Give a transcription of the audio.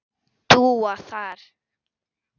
Dúa þar.